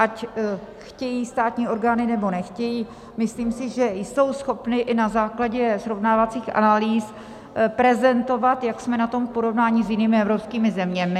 Ať chtějí státní orgány, nebo nechtějí, myslím si, že jsou schopny i na základě srovnávacích analýz prezentovat, jak jsme na tom v porovnání s jinými evropskými zeměmi.